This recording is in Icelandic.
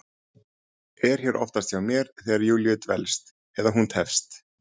Er hér oftast hjá mér þegar Júlíu dvelst, eða hún tefst.